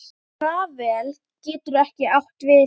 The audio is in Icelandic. Rafael getur átt við